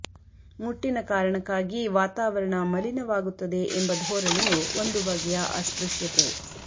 ಮುಟ್ಟಿನ ಕಾರಣಕ್ಕಾಗಿ ವಾತಾವರಣ ಮಲಿನವಾಗುತ್ತದೆ ಎಂಬ ಧೋರಣೆಯು ಒಂದು ಬಗೆಯ ಅಸ್ಪೃಶ್ಯತೆ